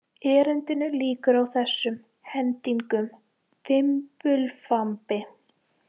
Erindinu lýkur á þessum hendingum: Fimbulfambi